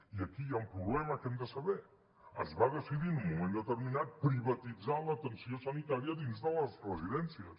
i aquí hi ha un problema que hem de saber es va decidir en un moment determinat privatitzar l’atenció sanitària dins de les residències